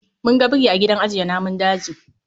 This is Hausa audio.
Mun ga biri a gidan ajiye namun daji